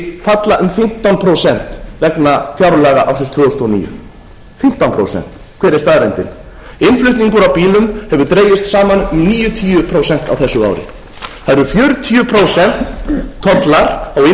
mundi falla um fimmtán prósenta vegna fjárlaga ársins tvö þúsund og níu hver er staðreyndin innflutningur á bílum hefur dregist saman um níutíu prósent á þessu ári það eru fjörutíu prósent tollar á innflutningi á